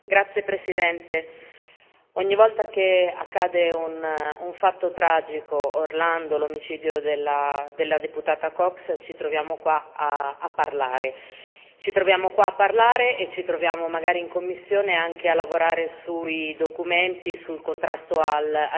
Signora Presidente, onorevoli colleghi, ogni volta che accade un fatto tragico, come Orlando e l'omicidio della deputata Cox, ci troviamo qua a parlare. Ci troviamo qua a parlare e ci troviamo, magari in commissione, anche a lavorare sui documenti sul contrasto